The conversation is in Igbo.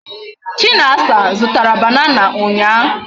Chinasa zutara banana unya